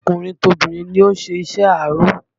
Tọkùnrin tobìnrin ló ń ṣe iṣẹ́ aró